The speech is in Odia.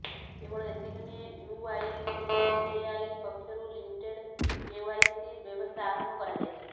କେବଳ ଏତିକି ନୁହେଁ ୟୁଆଇଡିଏଆଇ ପକ୍ଷରୁ ଲିମିଟେଡ୍ କେଓ୍ବାଇସି ବ୍ୟବସ୍ଥା ଆରମ୍ଭ କରାଯାଇଛି